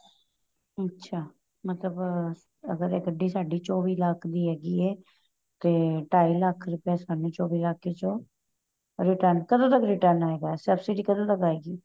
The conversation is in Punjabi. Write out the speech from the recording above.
ਅੱਛਾ ਮਤਲਬ ਅਗਰ ਏ ਗੱਡੀ ਸਾਡੀ ਚੋਵੀਂ ਲੱਖ ਦੀ ਹੈਗੀ ਏ ਤੇ ਢਾਈ ਲੱਖ਼ ਰੁਪਇਆਂ ਸਾਨੂੰ ਚੋਵੀਂ ਲੱਖ਼ ਚੋਂ return ਕਦੋਂ ਤੱਕ return ਆਏਗਾ ਸਭਸਿਡੀ ਕਦੋਂ ਤੱਕ ਆਏਗੀ